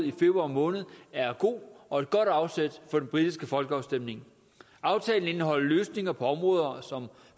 i februar måned er god og et godt afsæt for den britiske folkeafstemning aftalen indeholder løsninger på områder som